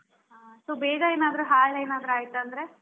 ಹಾ so ಬೇಗ ಏನಾದ್ರು ಹಾಳ್ ಏನಾದ್ರೂ ಆಯ್ತಂದ್ರೆ?